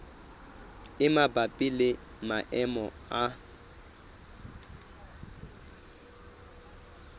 e mabapi le maemo a